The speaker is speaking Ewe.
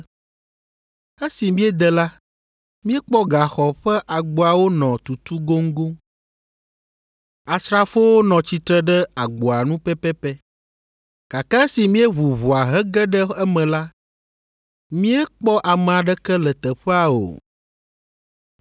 “Esi míede la, míekpɔ gaxɔ ƒe agboawo nɔ tutu goŋgoŋ. Asrafowo nɔ tsitre ɖe agboa nu pɛpɛpɛ, gake esi míeʋu ʋɔa hege ɖe eme la, míekpɔ ame aɖeke le teƒea o.”